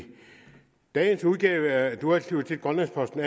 dagens udgave af atuagagdliutitgrønlandsposten